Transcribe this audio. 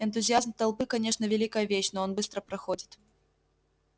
энтузиазм толпы конечно великая вещь но он быстро проходит